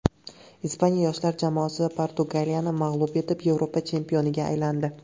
Ispaniya yoshlar jamoasi Portugaliyani mag‘lub etib, Yevropa chempioniga aylandi.